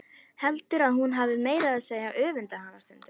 Heldur að hún hafi meira að segja öfundað hana stundum.